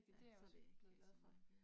Ja, det er jeg også blevet glad for